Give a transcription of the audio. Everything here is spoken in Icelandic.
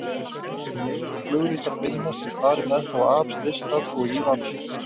Um leið og flugritar finnast er farið með þá af slysstað og í rannsókn.